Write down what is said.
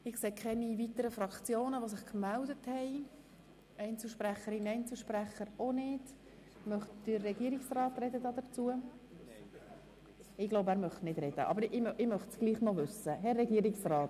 Es gibt keine weiteren Fraktionssprechenden, und der Regierungsrat verzichtet auf sein Wort.